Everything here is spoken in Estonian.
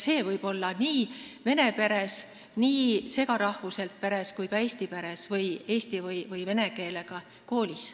See võib selliselt olla vene peres, eesti ja vene segaperes ja ka eesti peres või nii eesti kui ka vene koolis.